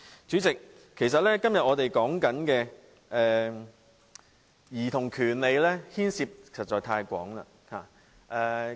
主席，我們今天討論兒童權利，牽涉的範疇實在太廣。